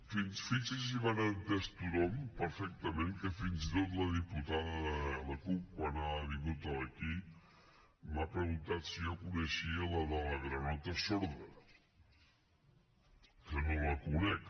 fixi’s si m’ha entès tothom perfectament que fins i tot la diputada de la cup quan ha vingut aquí m’ha preguntat si jo coneixia la de la granota sorda que no la conec